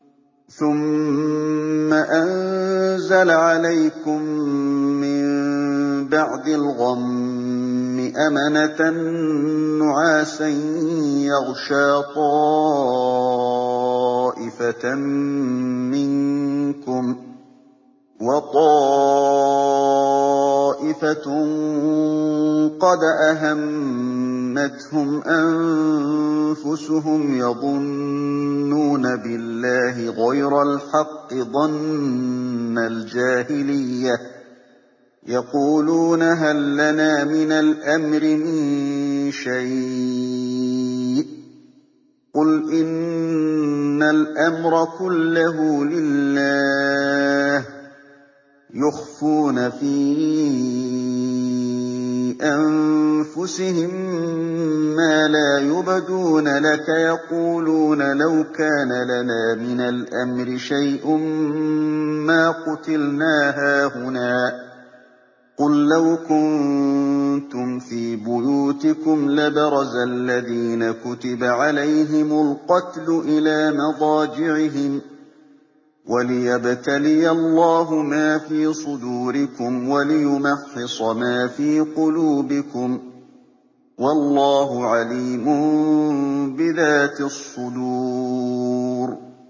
ثُمَّ أَنزَلَ عَلَيْكُم مِّن بَعْدِ الْغَمِّ أَمَنَةً نُّعَاسًا يَغْشَىٰ طَائِفَةً مِّنكُمْ ۖ وَطَائِفَةٌ قَدْ أَهَمَّتْهُمْ أَنفُسُهُمْ يَظُنُّونَ بِاللَّهِ غَيْرَ الْحَقِّ ظَنَّ الْجَاهِلِيَّةِ ۖ يَقُولُونَ هَل لَّنَا مِنَ الْأَمْرِ مِن شَيْءٍ ۗ قُلْ إِنَّ الْأَمْرَ كُلَّهُ لِلَّهِ ۗ يُخْفُونَ فِي أَنفُسِهِم مَّا لَا يُبْدُونَ لَكَ ۖ يَقُولُونَ لَوْ كَانَ لَنَا مِنَ الْأَمْرِ شَيْءٌ مَّا قُتِلْنَا هَاهُنَا ۗ قُل لَّوْ كُنتُمْ فِي بُيُوتِكُمْ لَبَرَزَ الَّذِينَ كُتِبَ عَلَيْهِمُ الْقَتْلُ إِلَىٰ مَضَاجِعِهِمْ ۖ وَلِيَبْتَلِيَ اللَّهُ مَا فِي صُدُورِكُمْ وَلِيُمَحِّصَ مَا فِي قُلُوبِكُمْ ۗ وَاللَّهُ عَلِيمٌ بِذَاتِ الصُّدُورِ